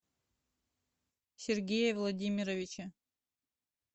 сергее владимировиче